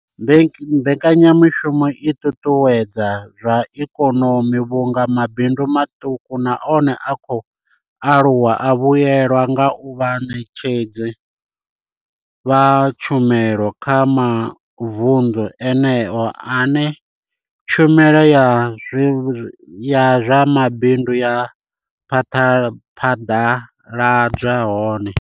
Mbekanya mushumo i ṱuṱuwedza zwa ikonomi vhunga mabindu maṱuku na one a khou aluwa a vhuelwa nga u vha vhaṋetshedzi vha tshumelo kha mavundu eneyo ane tshumelo ya zwa mabindu ya phaḓaladzwa hone.